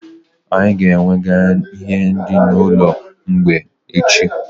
Anyị ga-ewega ihe nri na ụlọ mgbei echi